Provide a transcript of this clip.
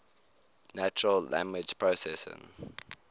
natural language processing